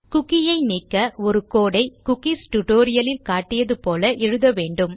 குக்கியை நீக்க ஒரு கோடு ஐ குக்கீஸ் டியூட்டோரியல் இல் காட்டியது போல எழுத வேண்டும்